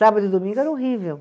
Sábado e domingo era horrível.